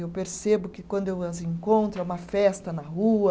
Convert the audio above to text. Eu percebo que quando eu as encontro, é uma festa na rua,